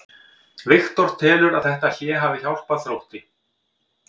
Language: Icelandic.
Viktor telur að þetta hlé hafi hjálpað Þrótti.